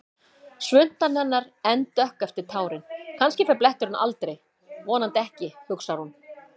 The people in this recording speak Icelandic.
Svuntan hennar enn dökk eftir tárin, kannski fer bletturinn aldrei, vonandi ekki, hugsar hún.